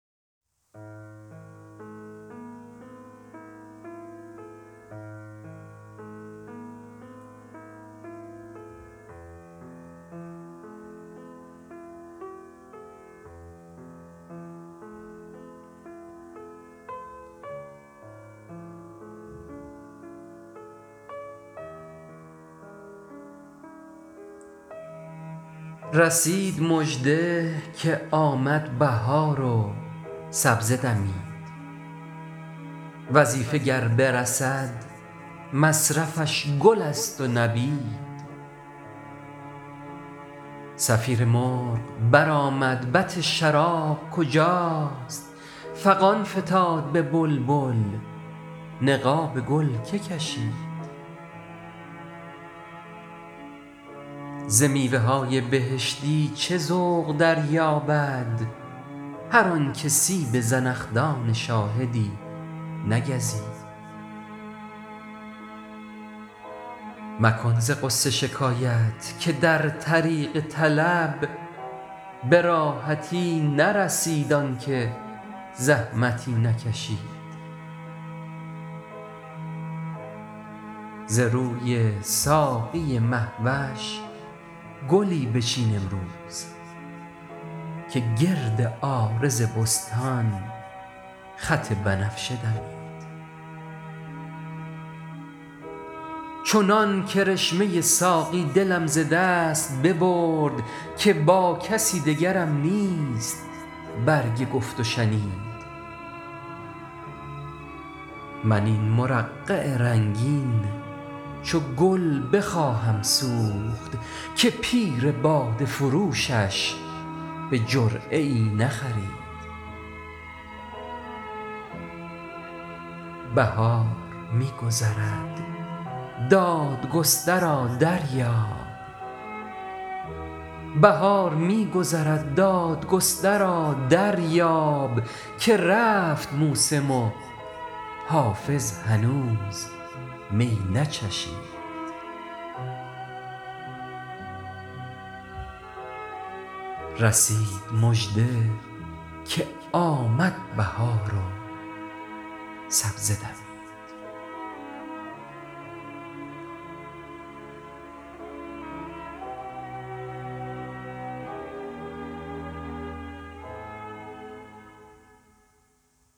رسید مژده که آمد بهار و سبزه دمید وظیفه گر برسد مصرفش گل است و نبید صفیر مرغ برآمد بط شراب کجاست فغان فتاد به بلبل نقاب گل که کشید ز میوه های بهشتی چه ذوق دریابد هر آن که سیب زنخدان شاهدی نگزید مکن ز غصه شکایت که در طریق طلب به راحتی نرسید آن که زحمتی نکشید ز روی ساقی مه وش گلی بچین امروز که گرد عارض بستان خط بنفشه دمید چنان کرشمه ساقی دلم ز دست ببرد که با کسی دگرم نیست برگ گفت و شنید من این مرقع رنگین چو گل بخواهم سوخت که پیر باده فروشش به جرعه ای نخرید بهار می گذرد دادگسترا دریاب که رفت موسم و حافظ هنوز می نچشید